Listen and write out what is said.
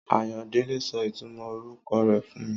Àyándẹle sọ ìtúmò oruko rẹ fún mi